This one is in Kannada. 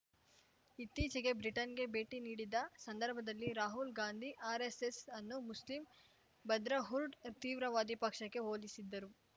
ಇತ್ತೀಚೆಗೆ ಬ್ರಿಟನ್‌ಗೆ ಭೇಟಿ ನೀಡಿದ್ದ ಸಂದರ್ಭದಲ್ಲಿ ರಾಹುಲ್‌ ಗಾಂಧಿ ಆರ್‌ಎಸ್‌ಎಸ್‌ ಅನ್ನು ಮುಸ್ಲಿಂ ಬ್ರದ್ರಾ ಹುಡ್‌ ತೀವ್ರವಾದಿ ಪಕ್ಷಕ್ಕೆ ಹೋಲಿಸಿದ್ದರು